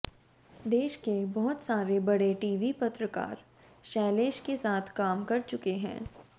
देश के बहुत सारे बड़े टी वी पत्रकार शैलेश के साथ काम कर चुके हैं